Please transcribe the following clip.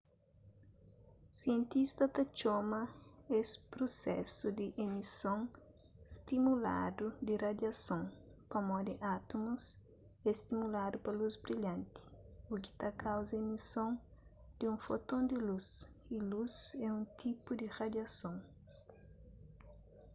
sientistas ta txoma es prusesu di emison stimuladu di radiason pamodi átumus é stimuladu pa lus brilhanti u ki ta kauza emison di un foton di lus y lus é un tipu di radiason